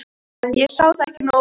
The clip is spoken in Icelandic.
ég sá það ekki nógu vel.